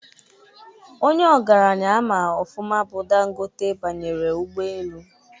Onye ogaranya ama ọfụma bụ Dangote banyere ụgbọelu